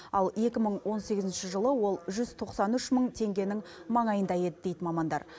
ал екі мың он сегізінші жылы ол жүз тоқсан үш мың теңгенің маңайында еді дейді мамандар